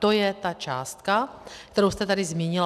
To je ta částka, kterou jste tady zmínil.